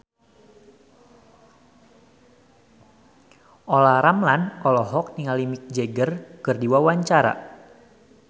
Olla Ramlan olohok ningali Mick Jagger keur diwawancara